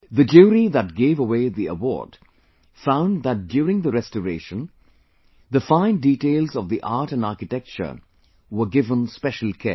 The jury that gave away the award found that during the restoration, the fine details of the art and architecture were given special care